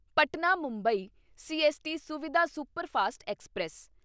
Patna Mumbai CST Suvidha superfast express